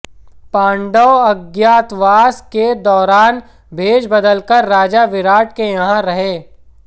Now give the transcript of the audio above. पांडव अज्ञातवास के दौरान भेष बदलकर राजा विराट के यहां रहे